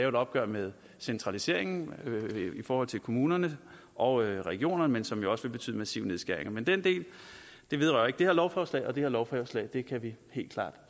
et opgør med centraliseringen i forhold til kommunerne og regionerne og som også vil betyde massive nedskæringer men den del vedrører ikke det her lovforslag og det her lovforslag kan vi helt klart